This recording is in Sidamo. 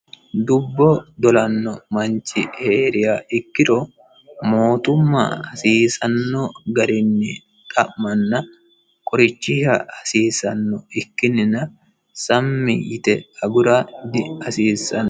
dubbo dolanno manchi heeriha ikkiro mootumma hasiisanno garinni xa'manna qorichisha hasiissanno ikkinnijna sammi yite agura dihasiissanno.